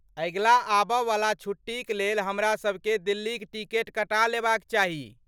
अगिला आब वाला छुट्टी क लेल हमरा सबके दिल्लीक टिकट कटा लेबाक चाही।